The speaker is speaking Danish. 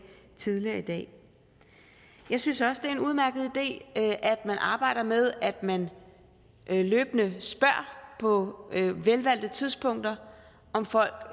tidligere i dag jeg synes også det er en udmærket idé at man arbejder med at man løbende spørger på velvalgte tidspunkter om folk